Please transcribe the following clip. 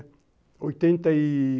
Oitenta e ...